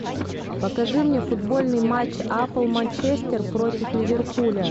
покажи мне футбольный матч апл манчестер против ливерпуля